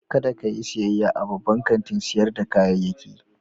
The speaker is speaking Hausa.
Kada ka yi sayayya a babban kantin sayar da kayayyaki.